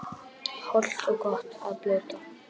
Hollt og gott að blóta